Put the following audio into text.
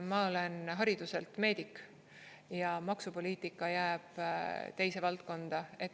Ma olen hariduselt meedik ja maksupoliitika jääb teise valdkonda.